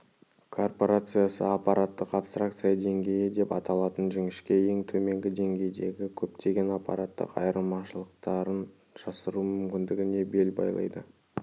корпорациясы аппараттық абстракция деңгейі деп аталатын жіңішке ең төменгі деңгейдегі көптеген аппараттық айырмашылықтарын жасыру мүмкіндігіне бел байлады